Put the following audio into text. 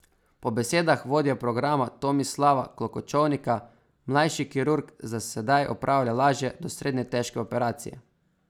Po besedah vodje programa Tomislava Klokočovnika mlajši kirurg za sedaj opravlja lažje do srednje težke operacije.